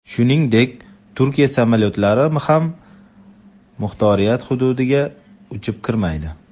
Shuningdek, Turkiya samolyotlari ham muxtoriyat hududiga uchib kirmaydi.